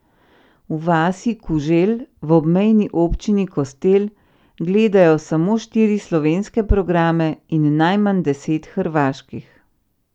V vasi Kuželj v obmejni občini Kostel gledajo samo štiri slovenske programe in najmanj deset hrvaških.